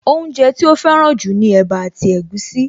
Oúnjẹ tí ó fẹ́ràn jù ni ẹ̀bá àti egusi